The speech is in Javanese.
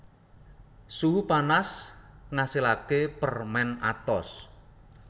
Suhu panas ngasilaké permèn atos